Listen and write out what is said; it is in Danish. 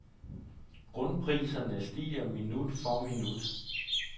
Grundpriserne stiger minut for minut.